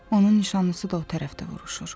Onun nişanlısı da o tərəfdə vuruşur.